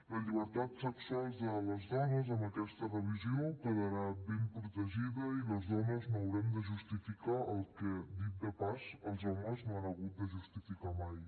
la llibertat sexual de les dones amb aquesta revisió quedarà ben protegida i les dones no haurem de justificar el que dit de pas els homes no han hagut de justificar mai